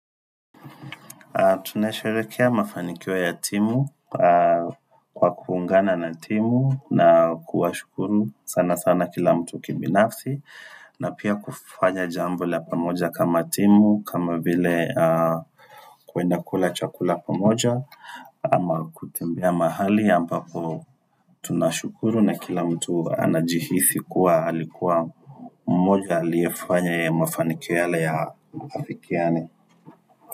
Tuna sherehekea mafanikio ya timu kwa kuungana na timu na kuwa shukuru sana sana kila mtu kibinafsi na pia kufanya jambo la pamoja kama timu kama vile kuenda kula chakula pamoja Ama kutembea mahali ambapo tunashukuru na kila mtu anajihisi kuwa alikuwa mmoja aliefanya mafanikio yale ya afikiane.